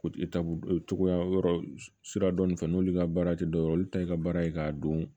togoya yɔrɔ sira dɔn nin fɛ n'olu ka baara tɛ dɔwɛrɛ ye olu ta ye i ka baara ye k'a dɔn